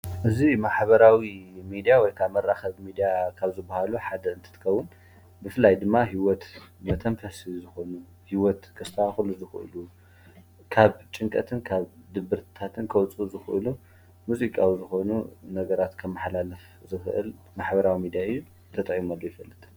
እዚ ማሕበራዊ ሚድያ ወይ ከዓ መራከቢ ሚድያ ካብ ዝብሃሉ ሓደ እንትትከዉን ብፍላይ ድማ ሂወት መተንፈሲ ዝኮኑ ሂወት ከስተካኽሉ ዝኽእሉ ካብ ጭንቀትን ካብ ድብርታትን ከዉጽኡ ዝኽእሉን ሙዚቃዊ ዝኮኑ ነገራት ከመሓላልፍ ዝኽእል ማሕበራዊ ሚድያ እዩ ።ተጠቂመሉ ኣይፍልጥን።